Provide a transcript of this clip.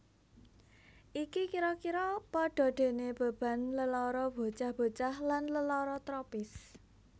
Iki kira kira padha dene beban lelara bocah bocah lan lelara tropis